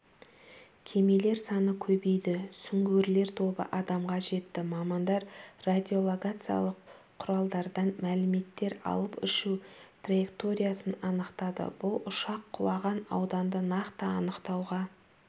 кемелер саны көбейді сүңгуірлер тобы адамға жетті мамандар радиолокациялық құралдардан мәліметтер алып ұшу траекториясын анықтады бұл ұшақ құлаған ауданды нақты анықтауға